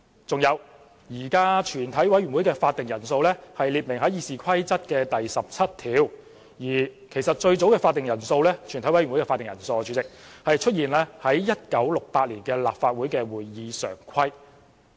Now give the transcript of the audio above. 再者，現時全委會的會議法定人數列明於《議事規則》第17條，而最早的全委會會議法定人數出現於1968年立法局的《會議常規》。